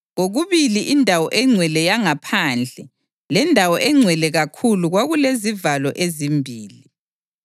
Kokubili indawo engcwele yangaphandle leNdawo eNgcwele kakhulu kwakulezivalo ezimbili.